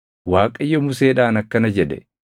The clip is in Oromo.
Waaqayyo Museedhaan akkana jedhe;